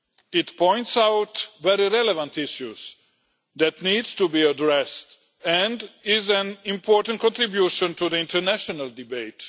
It points out very relevant issues that need to be addressed and is an important contribution to the international debate.